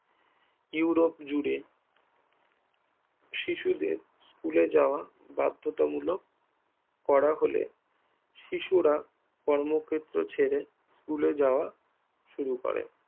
Europe জুড়ে শিশুদের স্কুলে যাওয়া বাধ্যতামূলক করা হলে শিশুরা কর্মক্ষেত্র ছেড়ে স্কুলে যাওয়া শুরু করে